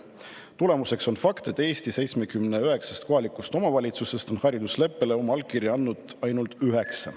on fakt, et Eesti 79 kohalikust omavalitsusest on haridusleppele oma allkirja andnud ainult üheksa.